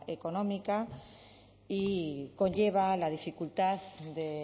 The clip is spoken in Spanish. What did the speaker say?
económica y conlleva la dificultad de